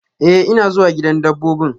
Eh, ina zuwa gidan dabbobin.